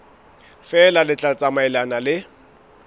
feela le tla tsamaelana le